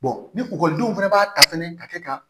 ni ekɔlidenw fɛnɛ b'a ta fɛnɛ ka kɛ ka